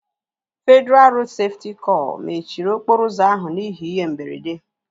Federalụ Rodu Sefuti kor mechiri okporo ụzọ ahụ n'ihi ihe mberede